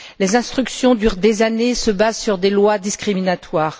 Les instructions durent des années et se basent sur des lois discriminatoires.